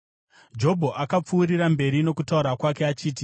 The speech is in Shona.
Jobho akapfuurira mberi nokutaura kwake achiti: